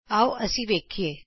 ਆਉ ਅਸੀਂ ਵੇਖੀਏ